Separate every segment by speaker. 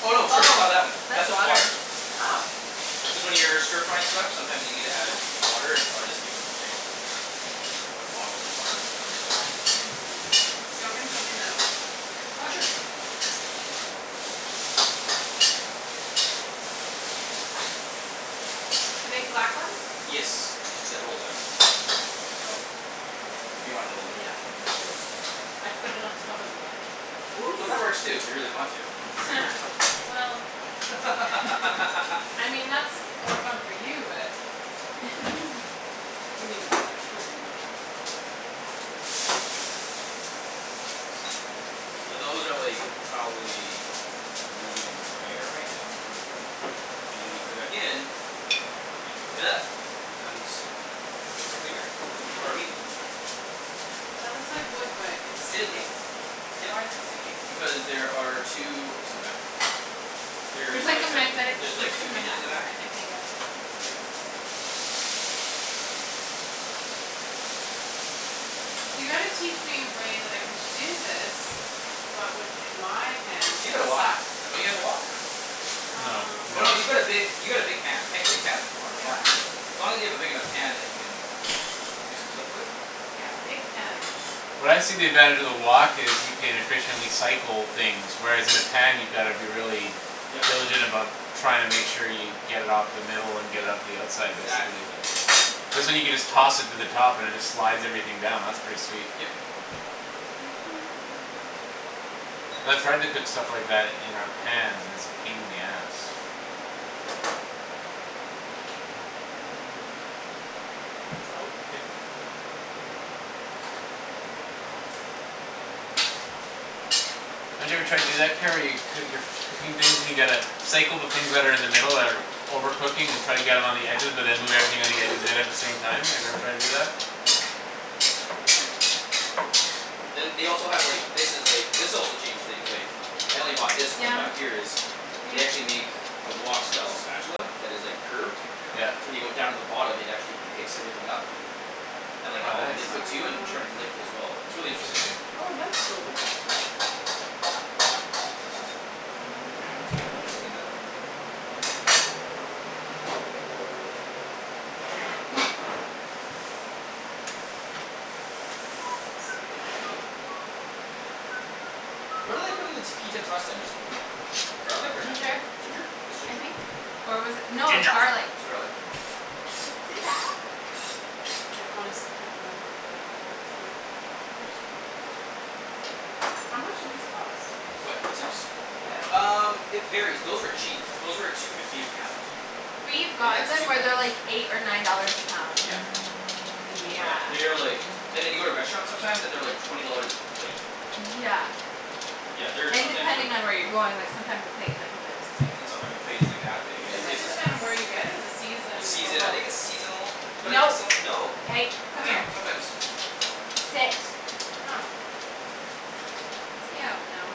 Speaker 1: Oh, no, sorry, not
Speaker 2: Oh,
Speaker 1: that one. That's
Speaker 2: that's
Speaker 1: just
Speaker 2: water.
Speaker 1: water.
Speaker 3: Oh.
Speaker 1: Cuz when you're stir frying stuff sometimes you need to add water, and so I just keep a thing of a bottle of water on the side.
Speaker 3: Mm. Do you want me to throw these out?
Speaker 1: Ah, sure.
Speaker 3: The big black ones?
Speaker 1: Yes,
Speaker 3: K.
Speaker 1: that rolls out.
Speaker 3: Oh. There's a
Speaker 1: If
Speaker 3: li-
Speaker 1: you wanna roll it out,
Speaker 3: Yeah,
Speaker 1: you can
Speaker 3: there's a
Speaker 1: roll it
Speaker 3: l-
Speaker 1: out.
Speaker 3: I put it on top of the lid. Whoops.
Speaker 1: Well, that works too, if you really want to.
Speaker 3: Well. I mean, that's more fun for you, but.
Speaker 1: So those are, like, probably medium rare right now.
Speaker 3: Mhm.
Speaker 1: And then when you put it back in and cook it up it becomes basically rare. Or medium, sorry.
Speaker 3: That looks like wood but it's
Speaker 1: It is wood,
Speaker 3: sticking.
Speaker 1: yep.
Speaker 3: Why's it sticking?
Speaker 1: Because there are two hooks in the back.
Speaker 2: There's
Speaker 1: There's,
Speaker 2: like
Speaker 1: like,
Speaker 2: a
Speaker 1: a hi-
Speaker 2: magnetic
Speaker 1: There's like
Speaker 2: strip
Speaker 3: Cool.
Speaker 1: two
Speaker 2: in the
Speaker 1: hinges in
Speaker 2: back
Speaker 1: the
Speaker 2: of
Speaker 1: back.
Speaker 2: it, I think.
Speaker 3: Yeah.
Speaker 1: Yeah.
Speaker 3: So you gotta teach me a way that I can do this but with my pans
Speaker 1: You got
Speaker 3: that
Speaker 1: a wok;
Speaker 3: suck.
Speaker 1: don't you have a wok?
Speaker 4: No,
Speaker 3: Um.
Speaker 4: we
Speaker 1: Oh,
Speaker 4: don't.
Speaker 1: no, you've got a big, you got a big pan, pan, big pans is fun, fun.
Speaker 3: Yeah.
Speaker 1: As long as you have a big enough pan that you can do some stuff with.
Speaker 3: Yeah, big pans.
Speaker 4: What I see the advantage of the wok is you can efficiently cycle things, whereas in a pan you gotta be really
Speaker 1: Yeah.
Speaker 4: diligent about trying to make sure you get it off the middle and get it
Speaker 1: Yeah,
Speaker 4: out to the
Speaker 1: it's
Speaker 4: outside,
Speaker 1: exactly
Speaker 4: basically.
Speaker 1: what it is.
Speaker 4: Cuz then you can just toss it to the top and it just slides everything down; that's pretty sweet.
Speaker 1: Yep.
Speaker 4: Cuz I've tried to cook stuff like that in our pans and it's a pain in the ass.
Speaker 3: Salt.
Speaker 1: Yep.
Speaker 3: Yeah.
Speaker 4: Don't you ever try to do that, Kara, where coo- you're cooking things and you gotta cycle the things that are in the middle that are over cooking and try to get them on the edges but then move everything on the edges in at the same time, have you every tried to do that?
Speaker 1: Then they also have, like, this is like, this also changed things, like I only bought this when I got
Speaker 2: Down.
Speaker 1: here is They
Speaker 2: Hey.
Speaker 1: actually make a wok style spatula that is, like,
Speaker 2: Good girl.
Speaker 1: curved
Speaker 4: Yeah.
Speaker 1: so when you go down to the bottom it actually picks everything up and, like,
Speaker 4: Oh,
Speaker 1: all the
Speaker 4: nice.
Speaker 1: liquid too and turns the liquid as well. It's really interesting.
Speaker 4: Interesting.
Speaker 3: Oh, that's cool.
Speaker 1: All right, so now we steam that out for a bit.
Speaker 3: Super cool.
Speaker 1: What did I put in the t- pea tips last time, just garlic or
Speaker 2: Ginger,
Speaker 1: nothing? Ginger? Just
Speaker 2: I
Speaker 1: ginger?
Speaker 2: think. Or was it, no, it was
Speaker 4: Ginja
Speaker 2: garlic.
Speaker 1: It was garlic?
Speaker 3: I honestly can't remember but I remember it was good.
Speaker 1: I think it was just, maybe it was just garlic.
Speaker 3: How much do these cost?
Speaker 1: What, pea tips?
Speaker 3: Yeah.
Speaker 1: Um, it varies; those were cheap. Those were two fifty a pound.
Speaker 2: We've
Speaker 1: And
Speaker 2: gotten
Speaker 1: that's
Speaker 2: them
Speaker 1: two
Speaker 2: where they're,
Speaker 1: pounds.
Speaker 2: like, eight or nine dollars a pound.
Speaker 1: Yeah.
Speaker 2: Yeah.
Speaker 1: Yeah, they are like and then you go to restaurants sometimes and they're, like, twenty dollars a plate.
Speaker 2: Yeah.
Speaker 1: Yeah, they're
Speaker 2: And
Speaker 1: sometimes uh
Speaker 2: depending on where you're going, like, sometimes the plate's, like, this big.
Speaker 1: and sometime a plate is like that big you're,
Speaker 3: Is
Speaker 2: Is
Speaker 1: like,
Speaker 3: it
Speaker 1: its
Speaker 2: like this.
Speaker 1: just
Speaker 3: just kinda where you get it or the
Speaker 1: It's
Speaker 3: season or
Speaker 1: season, I
Speaker 3: both?
Speaker 1: think it's seasonal. But I think
Speaker 2: No,
Speaker 1: some, no.
Speaker 2: hey,
Speaker 1: I
Speaker 2: come
Speaker 1: don't
Speaker 2: here.
Speaker 1: know, sometimes.
Speaker 2: Sit.
Speaker 3: Huh.
Speaker 2: Stay out now.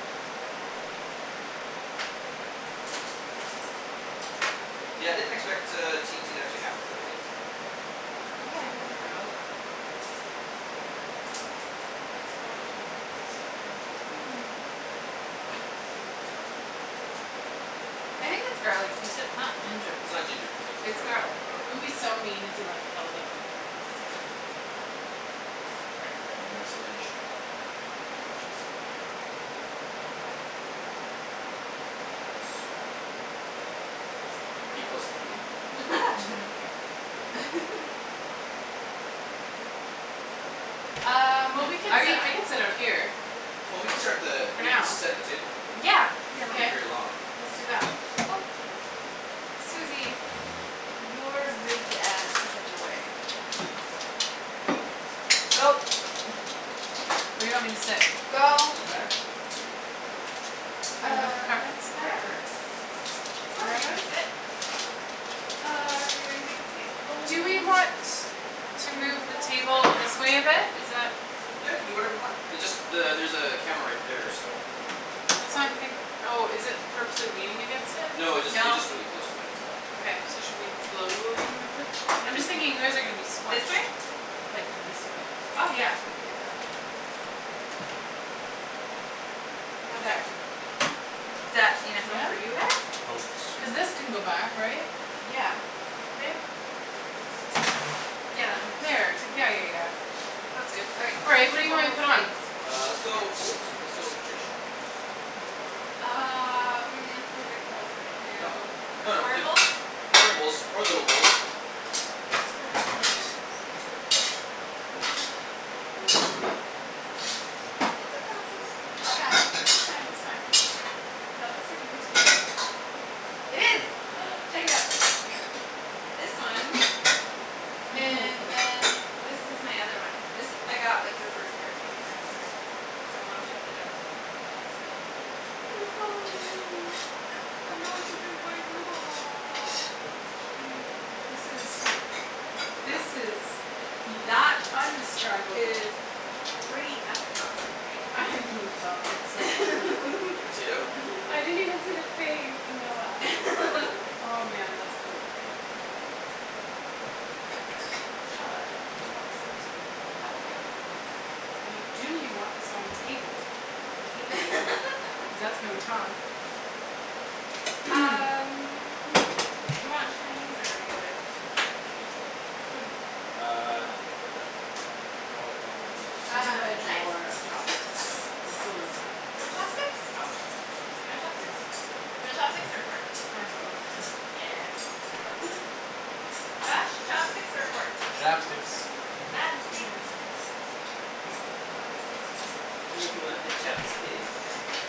Speaker 1: Yeah, I didn't expect, uh, T and T to actually have them but they did.
Speaker 3: That's
Speaker 2: Yeah, I
Speaker 3: awesome.
Speaker 2: thought they were out.
Speaker 3: Oh, the smell of ginger. It's so good.
Speaker 2: Hmm. I think its garlic pea tips, not ginger
Speaker 1: It's
Speaker 2: pea
Speaker 1: not
Speaker 2: tips.
Speaker 1: ginger pea tips; its
Speaker 2: It's
Speaker 1: garlic,
Speaker 2: garlic.
Speaker 1: garlic
Speaker 3: It would
Speaker 1: pea
Speaker 3: be
Speaker 1: tips.
Speaker 3: so mean if we, like, held up a plate, like, up to the camera.
Speaker 1: All right, we got another message. What did she say? Yes, we are. Are you close to eating? We're still cooking.
Speaker 2: Um,
Speaker 3: Well, we could
Speaker 2: are
Speaker 3: sit,
Speaker 2: you
Speaker 3: I could sit out here.
Speaker 1: Well, we can start the,
Speaker 3: For
Speaker 1: we can
Speaker 3: now.
Speaker 1: set the table.
Speaker 2: Yeah, here.
Speaker 1: So won't be
Speaker 3: K.
Speaker 1: very long.
Speaker 3: Let's do that.
Speaker 2: Oop- Susie. Your big ass is in the way. Go.
Speaker 3: Where do you want me to sit?
Speaker 2: Go.
Speaker 1: Doesn't matter.
Speaker 3: You have a
Speaker 2: Uh,
Speaker 3: preference?
Speaker 2: wherever. Wherever you wanna
Speaker 3: Wherever?
Speaker 2: sit. Uh, are we doing big plates,
Speaker 3: Do we
Speaker 2: bowls?
Speaker 3: want to move the
Speaker 2: bowls, plates.
Speaker 3: table this way a bit? Is that
Speaker 1: Yeah, you can do whatever you want. It just the- there's a camera right there, so. Just
Speaker 3: That's why
Speaker 1: watch
Speaker 3: I'm
Speaker 1: out for
Speaker 3: think-
Speaker 1: that.
Speaker 3: Oh, is it purposely leaning against it?
Speaker 1: No, it jus- it's
Speaker 2: No.
Speaker 1: just really close to it; that's all.
Speaker 3: Okay, so should we slowly move it? I'm just thinking you guys are gonna be
Speaker 2: this
Speaker 3: squished.
Speaker 2: way?
Speaker 3: Like this way.
Speaker 2: Oh, yeah, we could do that. How's that?
Speaker 3: There.
Speaker 2: Is that enough room for
Speaker 3: Yeah?
Speaker 2: you there?
Speaker 4: Coats.
Speaker 3: Cuz this can go back, right?
Speaker 2: Yeah. Yeah, that moves
Speaker 3: There.
Speaker 2: super
Speaker 3: Yeah, yeah,
Speaker 2: easy.
Speaker 3: yeah. That's good.
Speaker 2: All right,
Speaker 3: All right.
Speaker 2: plates
Speaker 3: What
Speaker 2: or
Speaker 3: do you want me
Speaker 2: bowls.
Speaker 3: to put
Speaker 2: Plates.
Speaker 3: on?
Speaker 1: Uh, let's go with bowls. Let's go traditional.
Speaker 2: Uh, we may have three big bowls. You wanna
Speaker 1: Oh.
Speaker 2: do
Speaker 1: No, no,
Speaker 2: square
Speaker 1: like
Speaker 2: bowls?
Speaker 1: square bowls or little bowls.
Speaker 3: Do you want me to hold some-
Speaker 2: It's a process. I got it. It's
Speaker 3: That's
Speaker 2: fine.
Speaker 3: fine,
Speaker 2: It's
Speaker 3: that's
Speaker 2: fine.
Speaker 3: fine. That looks like a potato.
Speaker 2: It is. Check it out. This one. And then this is my other one. This I got, like, the first year I came to Vancouver. My mom shipped it out to me. She missed me and she's like "It's Halloween. I have no one to drink wine with."
Speaker 3: Aw, that's cute. This is This is Bea-
Speaker 2: That
Speaker 3: t- undescribable.
Speaker 2: is pretty f- ing awesome, right?
Speaker 3: I love it so mu-
Speaker 1: The potato?
Speaker 3: I didn't even see the face. Oh, man, that's cool.
Speaker 2: Yeah.
Speaker 3: Shall I? Do you want this on the table? I mean, do you want this on the table, table, cuz that's how we talk.
Speaker 2: Um, you want Chinese or regular?
Speaker 1: Chinese what?
Speaker 2: Spoon.
Speaker 1: Ah, no, regular's fine.
Speaker 3: You have
Speaker 2: Uh,
Speaker 3: a
Speaker 2: knife?
Speaker 3: drawer of chopsticks.
Speaker 1: Knife? For
Speaker 3: How cool is
Speaker 1: what?
Speaker 3: that.
Speaker 2: You want chopsticks?
Speaker 1: I want chopsticks.
Speaker 2: You want chopsticks? You want chopsticks or a fork?
Speaker 3: Can I have both?
Speaker 2: Yeah. Josh, chopsticks or a fork?
Speaker 3: Hey,
Speaker 4: Chopsticks.
Speaker 3: good
Speaker 2: Chopsticks.
Speaker 3: girl.
Speaker 2: You want the chopstick.
Speaker 1: You want the chop a stick
Speaker 2: The
Speaker 1: uh.
Speaker 2: chop a steek.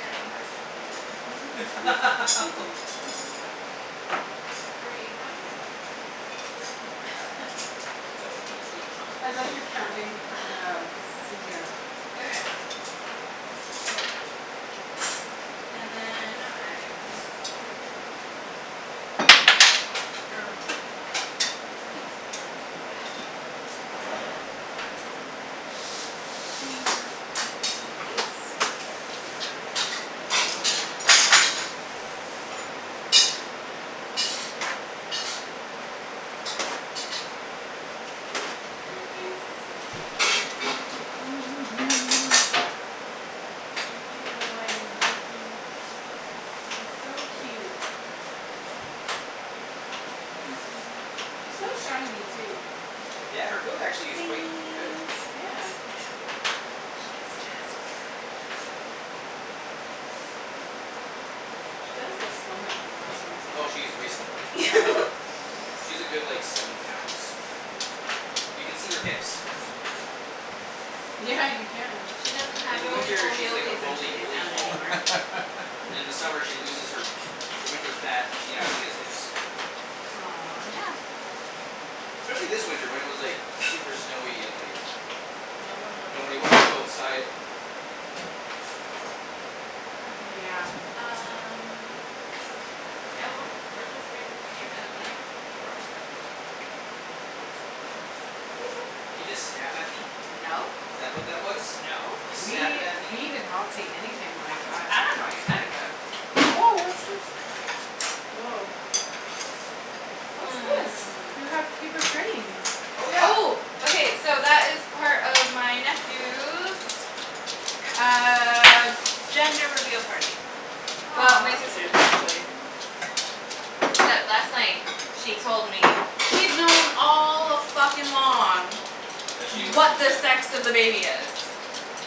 Speaker 2: I don't know how to count anymore. Fuck me. Three, how many of us are there?
Speaker 1: Four. So that would be eight chopsticks.
Speaker 3: Depends if you're counting Pe- um Susie or not.
Speaker 2: Okay. So. And then no knives. Which is fine or And
Speaker 3: Her face is so cute. Oh, you. You know I was looking. It's so cute. Hey Susie. She's so shiny too.
Speaker 1: Yeah, her coat actually is quite good.
Speaker 3: Yeah. She does look slimmer from the last time I saw
Speaker 1: Oh,
Speaker 3: her,
Speaker 1: she's way slimmer then last that you
Speaker 3: yeah.
Speaker 1: saw her.
Speaker 3: Whoops.
Speaker 1: Yeah, she's a good, like, seven pounds. You can see her hips.
Speaker 3: Yeah, you can.
Speaker 2: She doesn't
Speaker 1: In
Speaker 2: have
Speaker 1: the
Speaker 2: Rolie
Speaker 1: winter,
Speaker 2: Polie
Speaker 1: she's like a
Speaker 2: Ollies when she
Speaker 1: Rolie
Speaker 2: lays
Speaker 1: Polie
Speaker 2: down
Speaker 1: ball.
Speaker 2: anymore.
Speaker 1: And then in the summer she loses her her winter fat, and she actually has hips.
Speaker 3: Aw.
Speaker 2: Yeah.
Speaker 1: Especially this winter when it was, like super snowy and, like
Speaker 2: No one wanted
Speaker 1: nobody
Speaker 2: to
Speaker 1: wanted to go
Speaker 2: move.
Speaker 1: outside.
Speaker 2: Okay.
Speaker 3: Yeah, it's true.
Speaker 2: Um Yeah, we're, we're just wait for you now,
Speaker 1: All right,
Speaker 2: Ian.
Speaker 1: we're almost there. Almost there. Did you just snap at me?
Speaker 2: No.
Speaker 1: Is that what that was?
Speaker 2: No.
Speaker 1: You snappin'
Speaker 3: We,
Speaker 1: at
Speaker 3: we
Speaker 1: me?
Speaker 3: did not see anything like that.
Speaker 2: I don't know what you're talking about.
Speaker 3: Woah, what's this? Woah. What's this? You have
Speaker 2: Um.
Speaker 3: paper cranes.
Speaker 1: Oh, yeah.
Speaker 2: Oh. Okay, so that is part of my nephew's uh gender reveal party. Well, my
Speaker 3: Aw.
Speaker 2: sister's, actually. Except last night she told me she's known all a-fuckin'-long
Speaker 1: That she knew what she
Speaker 2: what
Speaker 1: was
Speaker 2: the
Speaker 1: having.
Speaker 2: sex of the baby is.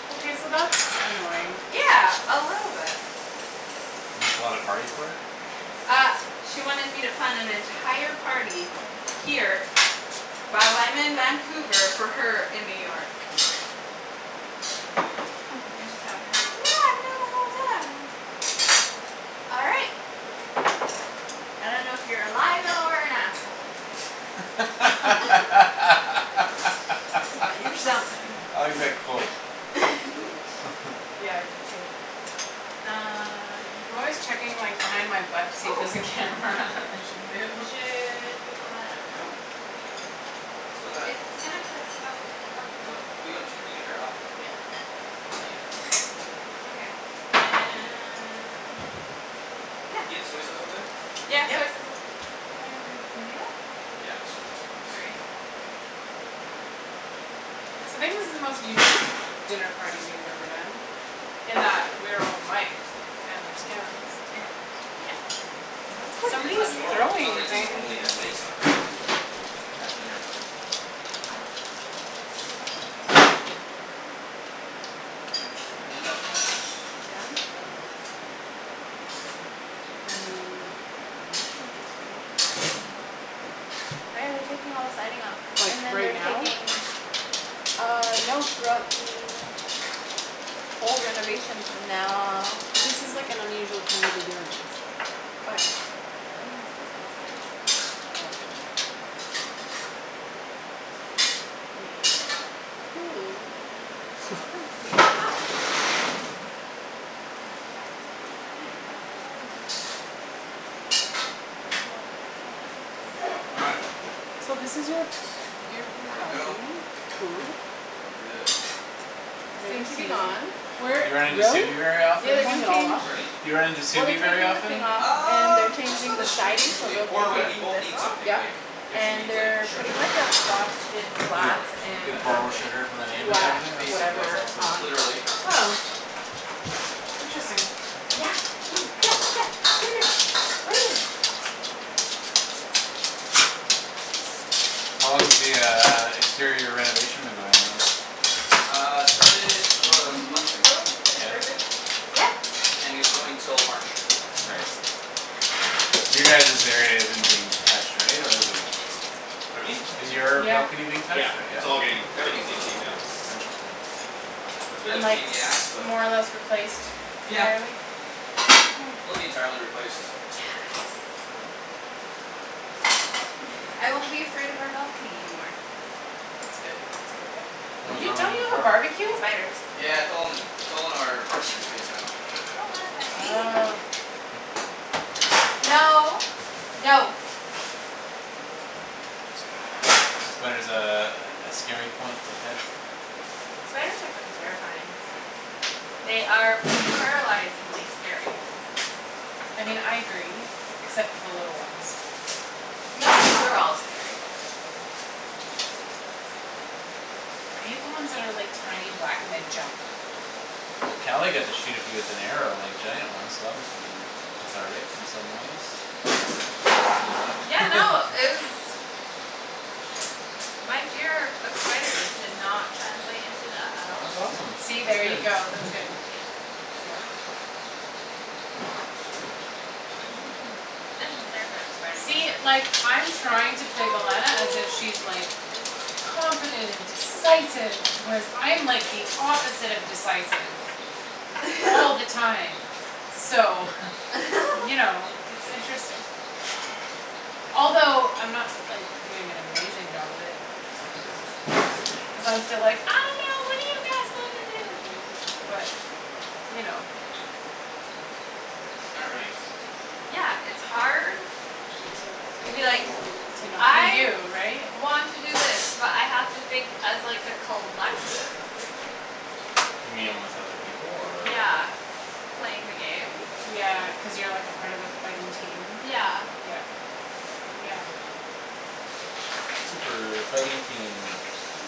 Speaker 3: Okay, so that's annoying.
Speaker 2: Yeah, a little bit.
Speaker 4: And you a party for it?
Speaker 2: Uh she wanted me to plan an entire party here while I'm in Vancouver for her in New York. Then she tells me, like, "No, I've known the whole time." All right. I don't know if you're a liar or an asshole.
Speaker 4: I
Speaker 2: But you're something.
Speaker 4: like that quote.
Speaker 3: Yeah, I do too.
Speaker 2: Um
Speaker 3: I'm always checking, like, behind my butt to see if
Speaker 2: Oh.
Speaker 3: there's a
Speaker 1: Yep.
Speaker 3: camera and should move.
Speaker 2: Should we pull that out now?
Speaker 1: No, not yet. Still got a
Speaker 2: It's gonna
Speaker 1: cup- her off though.
Speaker 2: Yeah.
Speaker 1: Not yet.
Speaker 2: Okay, and Yeah.
Speaker 1: Do you have the soy sauce over there?
Speaker 2: Yeah, soy
Speaker 3: Yep.
Speaker 2: sauce's
Speaker 1: Yeah, it's, it's a.
Speaker 2: Sorry.
Speaker 1: No, it's all right.
Speaker 3: So maybe this is the most unique dinner party we've ever done in that we're all miked and there's cameras.
Speaker 2: Yeah, yep.
Speaker 1: Yeah, it's
Speaker 2: Somebody's
Speaker 3: Somebody's
Speaker 1: not normal. It's
Speaker 2: throwing
Speaker 1: not
Speaker 2: the
Speaker 3: throwing
Speaker 1: like we
Speaker 2: thing.
Speaker 1: normally
Speaker 3: things.
Speaker 1: have mikes on ourselves to have a dinner party. All
Speaker 2: That's
Speaker 1: right, so
Speaker 2: gotta be
Speaker 1: that's that.
Speaker 2: downstairs neighbor?
Speaker 3: I mean, that's interesting.
Speaker 2: Oh, yeah, they're taking all the siding off.
Speaker 3: Like,
Speaker 2: And then
Speaker 3: right
Speaker 2: they're
Speaker 3: now?
Speaker 2: taking Uh, no, throughout the whole renovation's from now
Speaker 3: Cuz this is, like, an unusual time to be doing this.
Speaker 2: Oh, yeah, I think it's just downstairs.
Speaker 3: Oh.
Speaker 2: Yeah.
Speaker 3: Cool.
Speaker 2: It's completely off. I didn't realize their siding was off. Well
Speaker 1: All right.
Speaker 3: So this is your, your
Speaker 1: One more to go.
Speaker 3: balcony, cool.
Speaker 1: And we're good.
Speaker 2: Soon to be
Speaker 1: This one's gonna
Speaker 2: gone.
Speaker 1: be quick.
Speaker 4: You run into
Speaker 3: Really?
Speaker 4: very
Speaker 3: They're
Speaker 2: Yeah,
Speaker 4: often?
Speaker 2: they're
Speaker 3: pulling
Speaker 2: gonna
Speaker 3: it all off?
Speaker 2: change
Speaker 1: Pardon me?
Speaker 4: Do you run into
Speaker 2: Well, they're
Speaker 4: very
Speaker 2: taking the
Speaker 4: often?
Speaker 2: thing off. And they're
Speaker 1: Um, just on
Speaker 2: changing
Speaker 1: the
Speaker 2: the
Speaker 1: street
Speaker 2: siding so
Speaker 1: usually,
Speaker 2: they'll be
Speaker 1: or when
Speaker 4: Yeah.
Speaker 1: we
Speaker 2: taking
Speaker 1: both
Speaker 2: this
Speaker 1: need
Speaker 2: off.
Speaker 1: something,
Speaker 3: Yep.
Speaker 1: like if she
Speaker 2: And
Speaker 1: needs, like,
Speaker 2: they're putting
Speaker 1: sugar or
Speaker 2: like
Speaker 1: I
Speaker 2: a
Speaker 1: need, like
Speaker 2: frosted
Speaker 4: You
Speaker 2: glass
Speaker 1: garlic or something like
Speaker 4: b-
Speaker 2: and
Speaker 1: that we'll,
Speaker 4: borrow
Speaker 1: like
Speaker 4: sugar from the neighbour type
Speaker 1: Yeah,
Speaker 2: black
Speaker 4: of thing? That's,
Speaker 1: basically.
Speaker 4: that's
Speaker 2: whatever
Speaker 4: awesome.
Speaker 2: on.
Speaker 1: Literally.
Speaker 3: Oh. Interesting.
Speaker 2: Yeah, you, yeah, yeah, what are you doing? What are you doing?
Speaker 4: How long has the uh exterior renovation been going on?
Speaker 1: Uh, started about a month ago, I
Speaker 4: Yeah?
Speaker 1: think? Right, babe?
Speaker 2: Yeah.
Speaker 1: And it's going till March.
Speaker 4: Right. You guys's area isn't being touched, right, or is it?
Speaker 1: Pardon me?
Speaker 4: Is your balcony being touched
Speaker 1: Yeah,
Speaker 4: or? Yeah?
Speaker 1: it's all getting, everything's getting taken down.
Speaker 4: Oh, interesting.
Speaker 1: That's a bit
Speaker 3: and
Speaker 1: of a
Speaker 3: like
Speaker 1: pain in the ass, but.
Speaker 3: more or less replaced
Speaker 1: Yeah.
Speaker 3: entirely
Speaker 1: It'll be entirely replaced.
Speaker 2: Yes. I won't be afraid of our balcony anymore.
Speaker 3: That's good. That's a good thing.
Speaker 4: What was
Speaker 3: You,
Speaker 4: wrong with
Speaker 3: don't
Speaker 4: it
Speaker 3: you have a
Speaker 4: before?
Speaker 3: barbeque?
Speaker 2: Spiders.
Speaker 1: Yeah, it's all in the, it's all in our parking space now.
Speaker 3: Oh.
Speaker 2: No. No.
Speaker 4: Spider's a, a scary point for Ped?
Speaker 2: Spiders are fucking terrifying. They are paralyzingly scary.
Speaker 3: I mean, I agree except for the little ones.
Speaker 2: No, they're all scary.
Speaker 3: Okay. I hate the ones that are, like, tiny black and they jump.
Speaker 4: Well, Kali got to shoot a few with an arrow, like, giant ones so that musta been cathartic in some ways or maybe not.
Speaker 2: Yeah, no, it was My fear of spiders did not translate into that at all.
Speaker 4: That's awesome;
Speaker 3: See?
Speaker 4: that's
Speaker 3: There you
Speaker 4: good.
Speaker 3: go; that's good.
Speaker 2: Eh.
Speaker 3: Yep.
Speaker 2: spider
Speaker 3: See?
Speaker 2: somewhere.
Speaker 3: Like, I'm trying to play as if she's, like confident and decisive whereas I'm like the opposite of decisive all the time. So, you know, it's interesting. Although I'm not, like, doing an amazing job of it. Cuz I'm still like, "I don't know; what do you guys wanna do" but you know.
Speaker 1: All right.
Speaker 2: Yeah, it's hard to be like
Speaker 3: To not be
Speaker 2: "I
Speaker 3: you, right?
Speaker 2: want to do this but I have to think as, like, a collective."
Speaker 4: You mean with other people, or?
Speaker 2: Yeah, playing the game.
Speaker 3: Yeah, cuz you're, like, a part of a fighting team?
Speaker 2: Yeah.
Speaker 3: Yeah. Yeah.
Speaker 4: Super fighting team,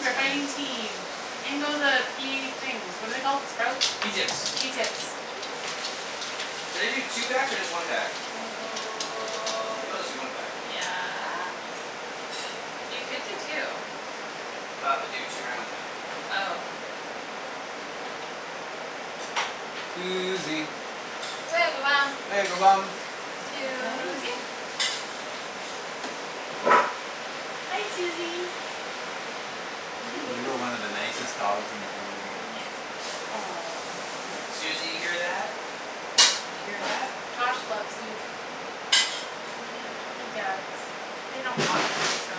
Speaker 4: that's your
Speaker 3: fighting
Speaker 4: name.
Speaker 3: team. In go the pea things. What are they called? Sprouts? Pea
Speaker 1: Pea
Speaker 3: tips?
Speaker 1: tips.
Speaker 3: Pea tips.
Speaker 1: Should I do two packs or just one pack? Maybe I'll just do one pack.
Speaker 2: Yeah. You could do two.
Speaker 1: Then I'll have to do two rounds then, I think.
Speaker 2: Oh.
Speaker 4: Susie.
Speaker 2: Susie.
Speaker 3: Hi. Hi, Susie.
Speaker 4: You're one of the nicest dogs in the whole world.
Speaker 2: Yes, you are.
Speaker 1: Susie,
Speaker 3: Aw.
Speaker 1: you hear that? You hear that?
Speaker 3: Josh loves you. He does.
Speaker 2: They don't walk you so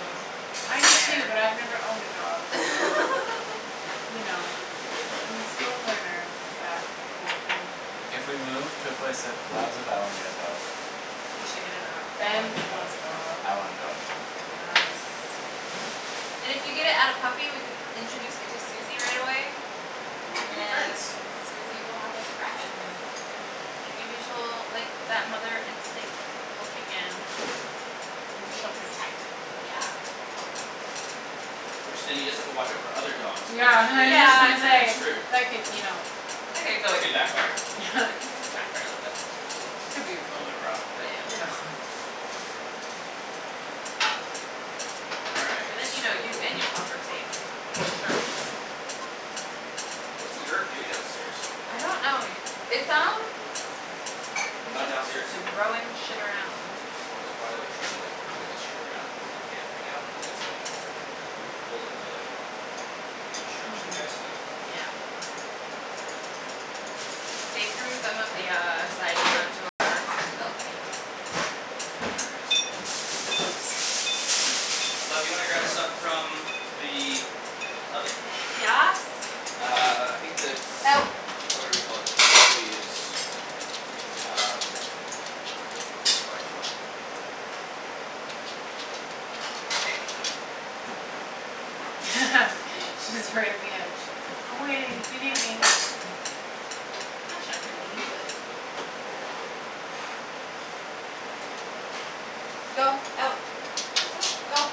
Speaker 3: I
Speaker 2: it's
Speaker 3: do too,
Speaker 2: fair.
Speaker 3: but I've never owned a dog so you know.
Speaker 1: Hey, there.
Speaker 3: I'm still a learner with that whole thing.
Speaker 4: If we move to a place that allows it, I wanna get a dog.
Speaker 2: You should get a dog.
Speaker 4: I
Speaker 3: Ben
Speaker 4: wanna get a dog.
Speaker 3: wants a dog.
Speaker 4: I want a dog.
Speaker 2: And if you get it at a puppy we can introduce it to Susie right away.
Speaker 1: Then they
Speaker 2: And
Speaker 1: could be friends.
Speaker 2: then Susie will have a friend. And maybe she'll, like, that mother instinct will kick in.
Speaker 3: Maybe she'll protect it.
Speaker 2: Yeah.
Speaker 1: Which then you just have to watch our for other dogs playing
Speaker 3: Yeah,
Speaker 1: with
Speaker 3: was
Speaker 1: it
Speaker 3: just
Speaker 1: because
Speaker 2: Yeah,
Speaker 1: then
Speaker 3: gonna
Speaker 2: and
Speaker 1: you're kinda
Speaker 3: say,
Speaker 2: then
Speaker 1: screwed.
Speaker 3: that could, you know
Speaker 1: That could backfire.
Speaker 2: back for a little bit.
Speaker 3: Could be a little bit rough, but, you
Speaker 2: Yeah.
Speaker 3: know.
Speaker 1: All
Speaker 2: So
Speaker 1: right,
Speaker 2: then you know you
Speaker 1: so.
Speaker 2: and your pup are safe for sure.
Speaker 1: What's Yerk doing downstairs?
Speaker 2: I don't know it, it sounds like he's
Speaker 1: Not
Speaker 2: just
Speaker 1: downstairs?
Speaker 2: throwing shit around.
Speaker 1: Oh, he's probably, like, trying to, like move his shit around cuz he can't right now, cuz it's, like full of the construction
Speaker 3: Hmm.
Speaker 1: guy stuff.
Speaker 2: Yeah. They threw some of the uh siding onto our balcony.
Speaker 1: All right.
Speaker 3: Oops.
Speaker 2: Ah.
Speaker 1: Love, do you wanna grab the stuff from the oven?
Speaker 2: Yes.
Speaker 1: Uh, I think the
Speaker 2: Out.
Speaker 1: whatever you call it probably is Um. probably hot.
Speaker 3: She's right at the edge. "I'm waiting if you need me."
Speaker 2: I'm not sure if we need this, but. Go. Out. Go.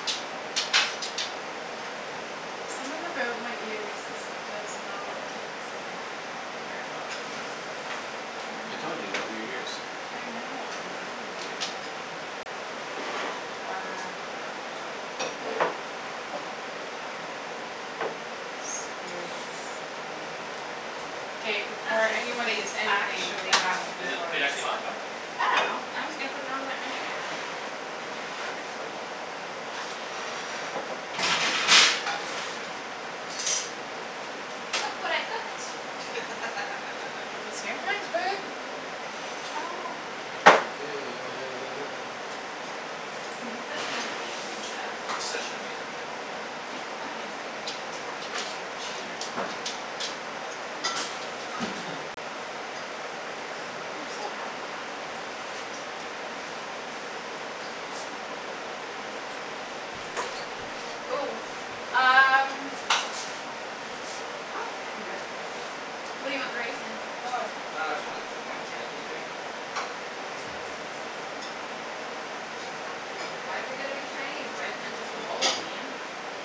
Speaker 3: Something about my ears is, does not keep this in. Very well.
Speaker 4: I told you you got weird ears.
Speaker 3: I know, I really do.
Speaker 1: All right, sweet.
Speaker 3: K,
Speaker 2: I'm not
Speaker 3: before
Speaker 2: sure the
Speaker 3: anyone
Speaker 2: plate is
Speaker 3: eats anything,
Speaker 2: actually
Speaker 3: there has
Speaker 2: hot
Speaker 3: to be
Speaker 1: Is
Speaker 2: but
Speaker 1: the
Speaker 3: photos.
Speaker 1: plate actually hot? No?
Speaker 2: I don't know. I'm just gonna put it on there anyway.
Speaker 1: Okay.
Speaker 2: Look what I cooked.
Speaker 3: What was here?
Speaker 2: Ah, wash your
Speaker 4: It does
Speaker 2: hands.
Speaker 4: look good.
Speaker 2: I'm such an amazing chef.
Speaker 1: You're such an amazing chef.
Speaker 2: Oh, thanks,
Speaker 1: You're
Speaker 2: Ian.
Speaker 1: welcome.
Speaker 3: You're a cheater.
Speaker 2: You're so happy. Ooh, um
Speaker 1: What's up?
Speaker 2: Nope, I can do it. What do you want the rice in?
Speaker 1: Uh, j- uh, just one of, o- one of the Chinese bowls, maybe?
Speaker 2: Why's it gotta be Chinese? Why isn't it just a bowl, Ian?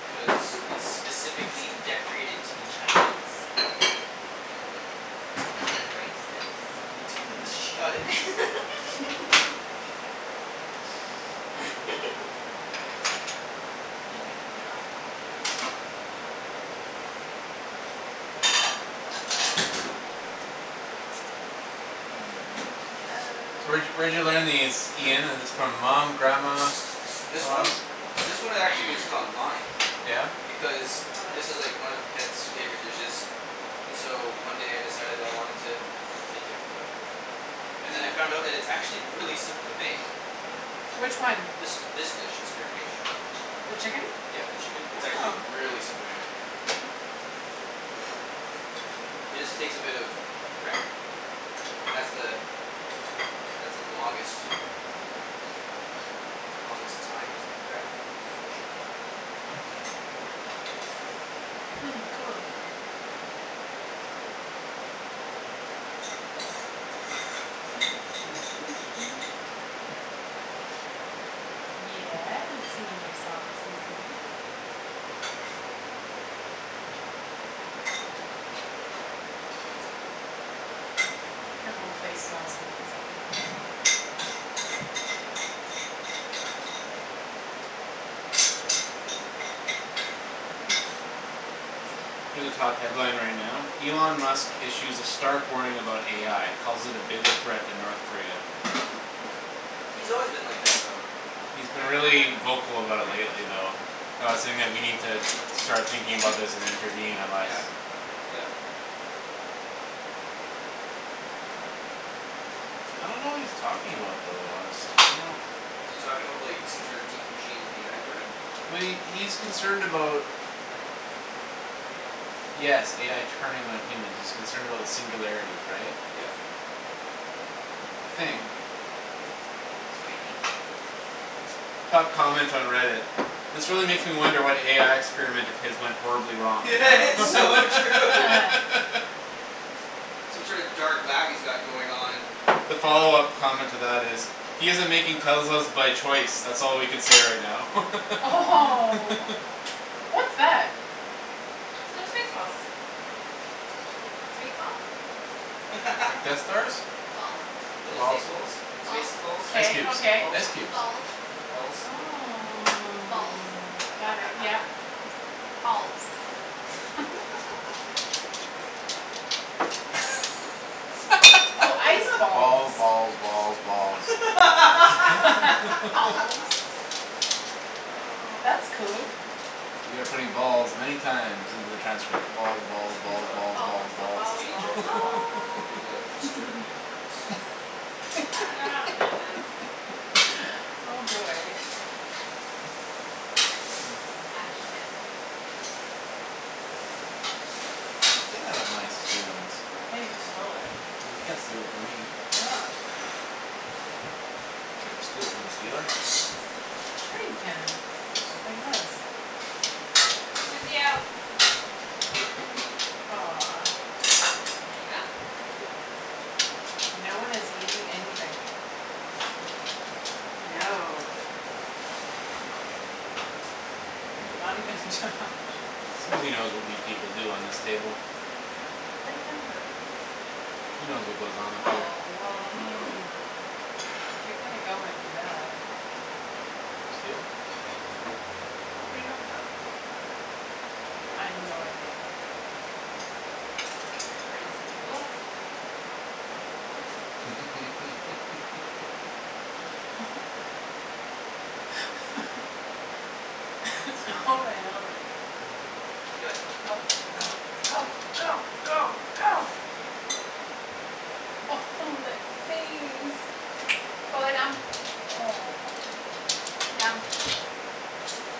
Speaker 1: Cuz it's specifically decorated to be Chinese.
Speaker 2: Y'all
Speaker 1: T- Shut
Speaker 2: racist.
Speaker 1: it.
Speaker 2: I'm gonna take the lid off. And in the
Speaker 4: So where'd
Speaker 2: ove-
Speaker 4: y- where'd you learn these, Ian, is this from mom, grandma,
Speaker 1: This
Speaker 4: someone
Speaker 1: one?
Speaker 4: else?
Speaker 1: This
Speaker 2: From
Speaker 1: one, it actually was just
Speaker 2: grams.
Speaker 1: online.
Speaker 4: Yeah?
Speaker 1: Because
Speaker 2: Oh,
Speaker 1: this is like
Speaker 2: this?
Speaker 1: one of Ped's favorite dishes. And so one
Speaker 2: Yeah.
Speaker 1: day I decided I wanted to make it for her. And then I found that it's actually really simple to make.
Speaker 3: Which one?
Speaker 1: This, this dish. This current dish.
Speaker 3: The chicken?
Speaker 1: Yeah, the chicken, it's actually
Speaker 3: Oh.
Speaker 1: really simple to make. It just takes a bit of prep. And that's the that's the longest longest time is the prep portion.
Speaker 3: Hmm, cool. Yeah, we're singing your song, Susie. Your whole place smells amazing.
Speaker 4: Here's a top headline right now, Elon Musk issues a stark warning about AI calls it a bigger threat than North Korea.
Speaker 1: He's always been like that though.
Speaker 4: He's been
Speaker 2: Front one or back
Speaker 4: really
Speaker 2: one?
Speaker 4: vocal about it
Speaker 1: Pardon me? That's
Speaker 4: lately
Speaker 1: fine, right
Speaker 4: though.
Speaker 1: there.
Speaker 4: About saying that we need to start thinking about this and intervene unless
Speaker 1: Yeah, yep.
Speaker 4: I don't know what he's talking about though, honestly. I don't know
Speaker 1: Is he talking about, like, some sort deep machine AI learning?
Speaker 4: Well, he, he's concerned about Yes, AI turning on humans; he's concerned about the singularity, right?
Speaker 1: Yep.
Speaker 4: I think.
Speaker 2: It's so yummy.
Speaker 4: Top comment on Reddit. "This really makes me wonder what AI experiment of his went horribly wrong."
Speaker 1: It's so true. Some sort of dark lab he's got going on.
Speaker 4: The follow-up comment to that is "He's isn't making Teslas by choice. That's all we can say right now."
Speaker 3: Oh, what's that?
Speaker 2: They're space balls. Space balls.
Speaker 4: Like Death Stars?
Speaker 2: Balls
Speaker 1: Little
Speaker 4: Balls.
Speaker 1: stace balls. Space
Speaker 2: Balls
Speaker 1: balls,
Speaker 4: Ice
Speaker 3: K,
Speaker 4: cubes,
Speaker 3: okay.
Speaker 1: balls.
Speaker 4: ice cubes.
Speaker 2: Balls
Speaker 1: Balls.
Speaker 3: Oh.
Speaker 2: Balls
Speaker 3: Got it, yeah.
Speaker 2: Balls
Speaker 3: Oh, ice
Speaker 4: Balls,
Speaker 3: balls.
Speaker 4: balls, balls, balls.
Speaker 2: Balls
Speaker 1: Oh,
Speaker 3: That's cool.
Speaker 1: man.
Speaker 4: We are putting balls many times into the transcript: balls, balls,
Speaker 1: Hey,
Speaker 4: balls,
Speaker 1: love.
Speaker 4: balls, balls,
Speaker 2: Balls, balls, balls,
Speaker 1: Can you
Speaker 2: balls,
Speaker 1: check
Speaker 4: balls.
Speaker 1: the
Speaker 2: balls
Speaker 1: wok? And give it a stir if it's
Speaker 2: I dunno how to do this.
Speaker 3: Oh, boy.
Speaker 2: Ak, shit.
Speaker 4: Hey, get out of my stealings.
Speaker 3: Hey, you stole it.
Speaker 4: Well, you can't steal it from me. You can't steal from the stealer.
Speaker 3: Sure you can,
Speaker 1: Nice,
Speaker 3: like
Speaker 1: thank you.
Speaker 3: this.
Speaker 2: Susie, out.
Speaker 3: Aw.
Speaker 2: There you go.
Speaker 1: Thank you.
Speaker 3: No one is eating anything.
Speaker 2: No.
Speaker 3: Not even Josh.
Speaker 4: Susie knows what we people do on this table.
Speaker 2: What are you talking about?
Speaker 4: She knows what goes on up here.
Speaker 3: Oh, well, I mean if you're gonna go and do that.
Speaker 4: Steal?
Speaker 2: What are you talking about?
Speaker 3: I have no idea.
Speaker 2: You crazy people.
Speaker 3: All
Speaker 4: Susie.
Speaker 3: right, all right.
Speaker 2: Do it. Go, go,
Speaker 4: Right.
Speaker 2: go, go, go, go.
Speaker 3: Oh, that face.
Speaker 2: Go lay down.
Speaker 3: Aw.
Speaker 2: Down.